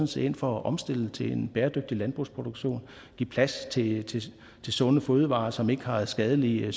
set ind for at omstille til en bæredygtig landbrugsproduktion og give plads til sunde fødevarer som ikke har skadelige